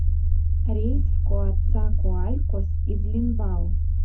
рейс в коацакоалькос из линбао